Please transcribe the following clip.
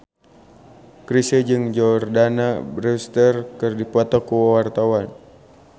Chrisye jeung Jordana Brewster keur dipoto ku wartawan